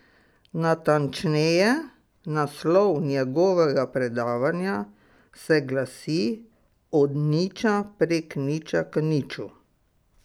Natančneje, naslov njegovega predavanja se glasi Od niča prek niča k niču.